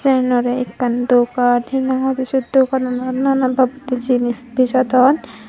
ten aro ekkan dogan hi nang hoidey se dogananot nanan babottey jinis bijodon.